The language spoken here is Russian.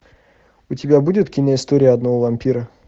у тебя будет киноистория одного вампира